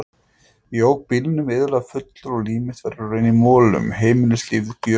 Ég ók bílnum iðulega fullur og líf mitt var í raun í molum, heimilislífið gjörónýtt.